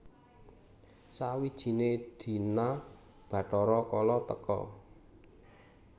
Sawijine dina Bathara Kala teka